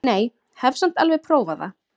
Nei, hef samt alveg prófað það!